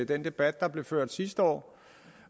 den debat der blev ført sidste år